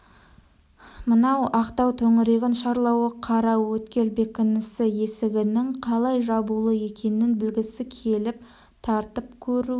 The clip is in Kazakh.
мынау ақтау төңірегін шарлауы қараөткел бекінісі есігінің қалай жабулы екенін білгісі келіп тартып көруі